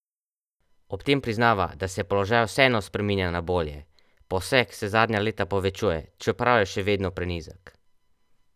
Ob tem priznava, da se položaj vseeno spreminja na bolje: "Posek se zadnja leta povečuje, čeprav je še vedno prenizek.